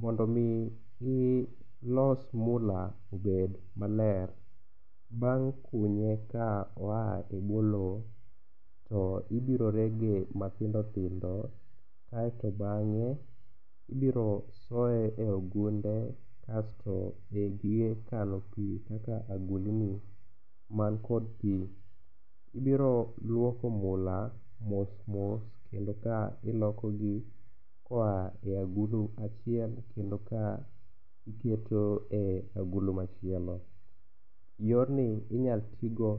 Mondo omi ilos mula obed maler bang' kunye ka oa e bwo lowo to ibirorege mathindothindo aeto bang'e ibiro soye e ogunde kasto e gige kano pi kaka agulni mankod pi. Ibiro luoko mula mosmos kendo ka ilokogi koa e agulu achiel kendo ka iketo e agulu machielo. Yorni inyal tigo